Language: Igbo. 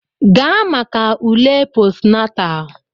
Gaa maka ule postnatal!